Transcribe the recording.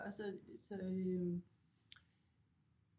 Så